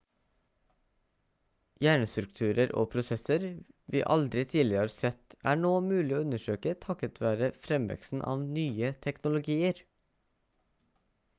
hjernestrukturer og prosesser vi aldri tidligere har sett er nå mulig å undersøke takket være fremveksten av nye teknologier